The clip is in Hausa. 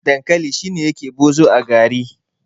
dankali shi ne yake bozo a gari